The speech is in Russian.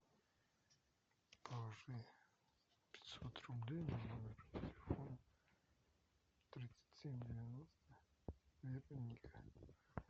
положи пятьсот рублей на номер телефона тридцать семь девяносто вероника